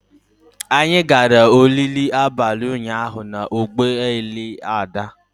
Anyị gara oriri abalị ụnyaahụ na ụgbọ ala Ada.